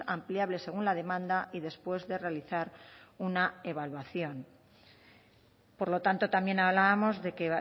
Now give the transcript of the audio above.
ampliable según la demanda y después de realizar una evaluación por lo tanto también hablábamos de que